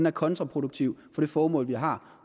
og kontraproduktiv for det formål vi har